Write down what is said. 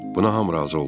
Buna hamı razı oldu.